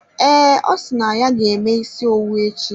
Ee, osi na ya ga-eme isi owu echi.